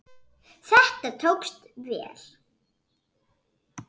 Þetta tókst vel.